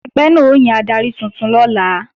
Ẹgbẹ́ náà ó yan adarí tuntun lọ́la